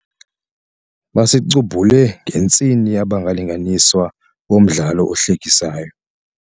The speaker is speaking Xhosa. Basicubhule ngentsini abalinganiswa bomdlalo ohlekisayo.